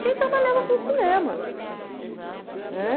Quem trabalhava com cinema, né?